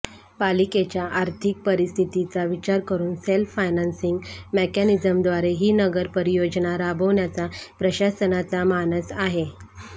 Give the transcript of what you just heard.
पालिकेच्या आर्थिक परिस्थितीचा विचार करून सेल्फ फायनान्सिंग मेकॅनिझमद्वारे ही नगर परियोजना राबविण्याचा प्रशासनाचा मानस आहे